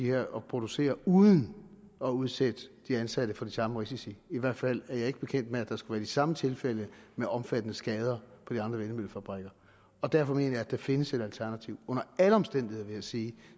her og producere uden at udsætte de ansatte for de samme risici i hvert fald er jeg ikke bekendt med at der skulle være de samme tilfælde med omfattende skader på de andre vindmøllefabrikker og derfor mener jeg at der findes et alternativ under alle omstændigheder vil jeg sige